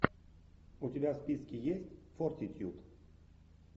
у тебя в списке есть фортитьюд